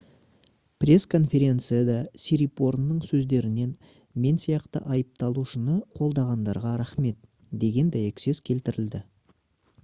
пресс-конференцияда сирипорнның сөздерінен «мен сияқты айыпталушыны қолдағандарға рахмет» деген дәйексөз келтірілді